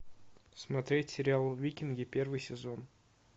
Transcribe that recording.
смотреть сериал викинги первый сезон